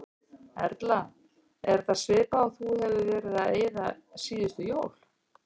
Erla: Er þetta svipað og þú hefur verið að eyða síðustu jól?